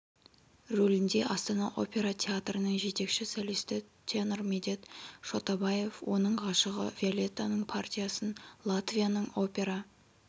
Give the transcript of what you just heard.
рөлінде астана опера театрының жетекші солисті тенор медет шотабаев оның ғашығы виолеттаның партиясын латвияның опера